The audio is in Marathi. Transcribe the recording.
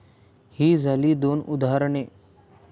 ही झाली दोन उदाहरणे.